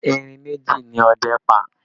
Erin méjì ni ọdẹ́ pa